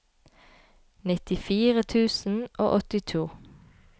nittifire tusen og åttito